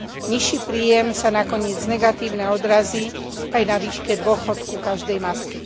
Nižší príjem sa nakoniec negatívne odrazí aj na výške dôchodku každej matky.